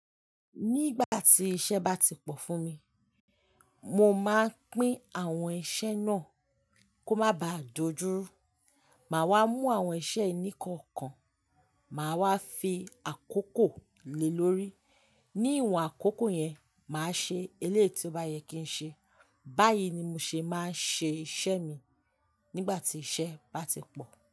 Nígbà tí iṣẹ́ bá ti pọ̀ fún mi, mo máa ń pín àwọn iṣẹ́ náà kó má baà dojú rú. Màá wá mú àwọn iṣẹ́ ìní kọ̀ọ̀kan, màá wá fi àkókò lè lórí. Ní ìwòn àkókò yẹn, màá ṣe eléyìí tí ó bá yẹ kí n ṣe. Báyìí ni mo ṣe máa ń ṣe iṣẹ́ mi nígbà tí iṣẹ́ bá ti pọ̀